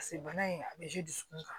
Paseke bana in a bɛ dusukun kan